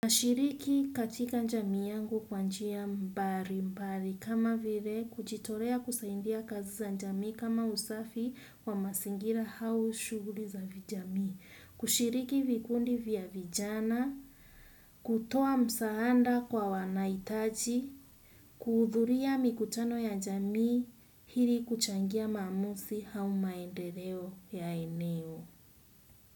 Nashiriki katika jamii yangu kwa njia mbali mbali kama vile kujitolea kusaidia kazi za jamii kama usafi wa mazingira au shughuli za vijamii, kushiriki vikundi vya vijana, kutoa msaada kwa wanahitaji, kuhudhuria mikutano ya jamii hili kuchangia maamuzi au maendeleo ya eneo.